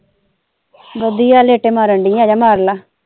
ਵਧੀਆ ਲੇਟੇ ਮਾਰਨ ਦੀ ਆਜਾ ਮਾਰਲਾ।